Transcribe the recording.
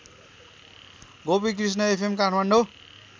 Gopikrishna FM Kathmandu